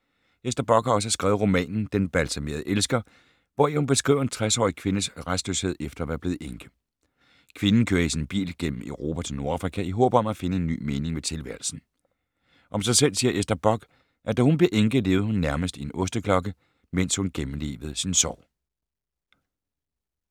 Ester Bock har også skrevet romanen Den balsamerede elsker, hvori hun beskriver en 60-årig kvindes rastløshed efter at være blevet enke. Kvinden kører i sin bil gennem Europa til Nordafrika i håb om at finde en ny mening med tilværelsen. Om sig selv siger Ester Bock, at da hun blev enke, levede hun nærmest i en osteklokke, mens hun gennemlevede sin sorg.